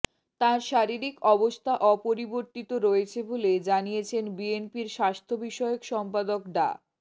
তাঁর শারীরিক অবস্থা অপরিবর্তিত রয়েছে বলে জানিয়েছেন বিএনপির স্বাস্থ্যবিষয়ক সম্পাদক ডা